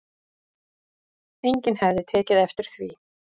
Enginn hefði tekið eftir því